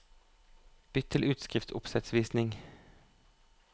Bytt til utskriftsoppsettvisning